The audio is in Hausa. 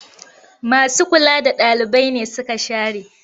Masu kula da ɗalibai nesuka share.